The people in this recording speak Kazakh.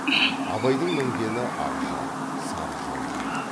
абайдың мінгені ақжал сары жорға еді